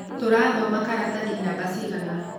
Turathoma karatathi namba cigana?